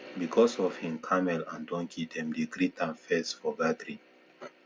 because of him camel and donkey dem dey greet am first for gathering